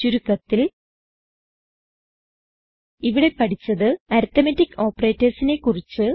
ചുരുക്കത്തിൽ ഇവിടെ പഠിച്ചത് അരിത്മെറ്റിക് operatorsനെ കുറിച്ച്